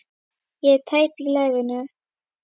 Ég er tæp í lærinu.